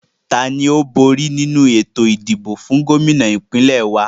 Tani ó bóri nínu ètò ìdìbò fún Gómìnà ìpínlẹ̀ wa?